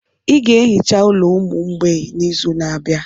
I ga-ehicha ụlọ ụmụ mgbei n'izu na-abịa.